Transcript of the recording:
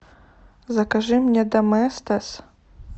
закажи мне доместос